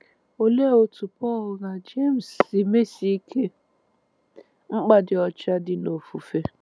Olee otú Pọl na Jems si mesie ike mkpa ịdị ọcha dị n’ofufe?